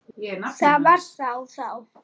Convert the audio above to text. Það var þá það.